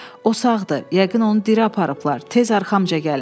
O sağdır, yəqin onu diri aparıblar, tez arxamca gəlin.